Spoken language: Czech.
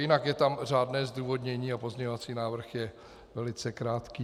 Jinak je tam řádné zdůvodnění a pozměňovací návrh je velice krátký.